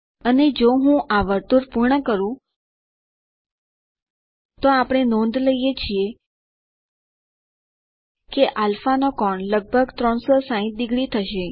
અને જો હું આ વર્તુળ પૂર્ણ કરું તો આપણે નોંધ લઇ શકીએ કે α નો કોણ લગભગ 360 ડિગ્રી થશે